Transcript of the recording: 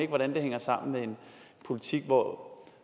hvordan det hænger sammen med en politik hvor